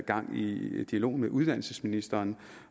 gang i en dialog med uddannelsesministeren